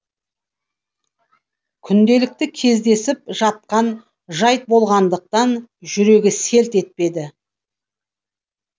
күнделікті кездесіп жатқан жайт болғандықтан жүрегі селт етпеді